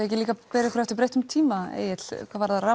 ekki líka að bera ykkur eftir breyttum tíma Egill hvað varðar